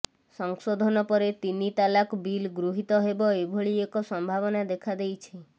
ସଂଶୋଧନ ପରେ ତିନି ତାଲାକ ବିଲ ଗୃହୀତ ହେବ ଏଭଳି ଏକ ସମ୍ଭାବନା ଦେଖା ଦେଇଛି